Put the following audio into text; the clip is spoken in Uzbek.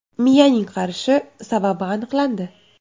Miyaning qarishi sababi aniqlandi.